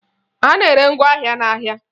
A na-ere ngwaọrụ n'ahịa